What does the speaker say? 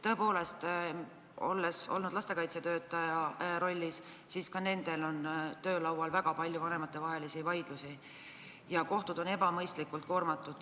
Tõepoolest, olen olnud lastekaitsetöötaja rollis ja tean, et ka nendel on töölaual väga palju vanematevahelisi vaidlusi ja kohtud on ebamõistlikult koormatud.